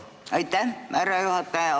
Aitäh, härra juhataja!